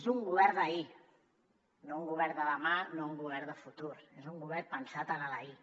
és un govern d’ahir no un govern de demà no un govern de futur és un govern pensat en l’ahir